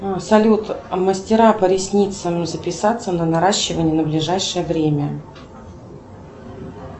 салют мастера по ресницам записаться на наращивание на ближайшее время